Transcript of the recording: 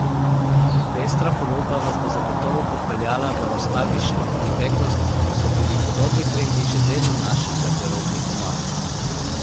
Pestra ponudba vas bo zagotovo popeljala v nostalgično preteklost, ko so bili podobni trendi že del naših garderobnih omar.